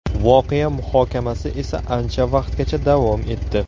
Voqea muhokamasi esa ancha vaqtgacha davom etdi.